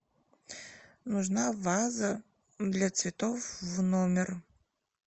нужна ваза для цветов в номер